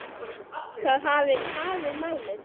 Það hafi tafið málið.